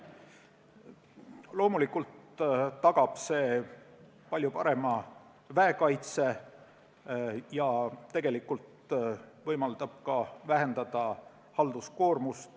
Loomulikult tagab see palju parema väekaitse ja tegelikult võimaldab vähendada ka halduskoormust.